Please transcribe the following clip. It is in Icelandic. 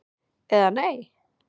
eða Nei?